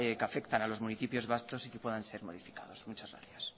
que afectan a los municipios vascos y que puedan ser modificados muchas gracias